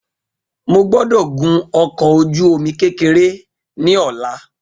Mo gbọ́dọ̀ gun ọkọ̀ ojú omi kékeré ní ọlá